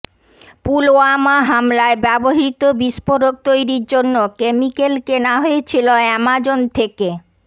পুলওয়ামা হামলায় ব্যবহৃত বিস্ফোরক তৈরির জন্য কেমিক্যাল কেনা হয়েছিল অ্যামাজন থেকে